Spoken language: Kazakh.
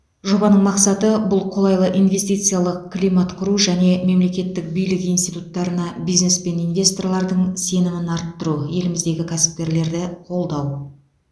жобаның мақсаты бұл қолайлы инвестициялық климат құру және мемлекеттік билік институттарына бизнес пен инвесторлардың сенімін арттыру еліміздегі кәсіпкерлерді қолдау